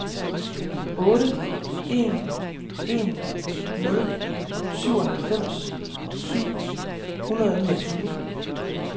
otte en en nul syvoghalvfems syv hundrede og niogtyve